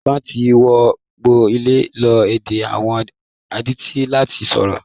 Àwọn kan tí wọ́n gbọ́ lè lo èdè àwọn adití láti sọ̀rọ̀.